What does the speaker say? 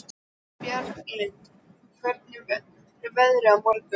Bjarglind, hvernig verður veðrið á morgun?